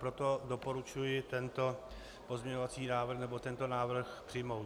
Proto doporučuji tento pozměňovací návrh, nebo tento návrh přijmout.